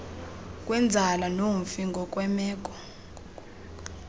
kwenzala nomfi ngokwemeko